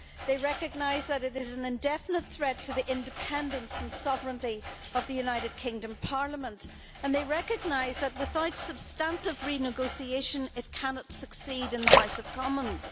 They recognise that it is an indefinite threat to the independence and sovereignty of the United Kingdom Parliament, and they recognise that without substantive renegotiation it cannot succeed in the House of Commons.